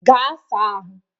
Ga sa ahụ!